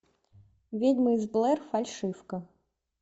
ведьма из блэр фальшивка